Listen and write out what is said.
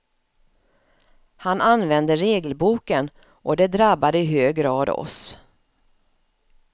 Han använde regelboken, och det drabbade i hög grad oss.